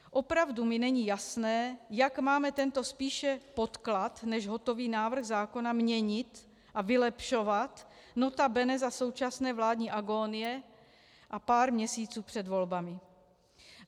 Opravdu mi není jasné, jak máme tento spíše podklad než hotový návrh zákona měnit a vylepšovat, nota bene za současné vládní agonie a pár měsíců před volbami.